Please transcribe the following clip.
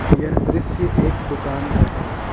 यह दृश्य एक दुकान का है।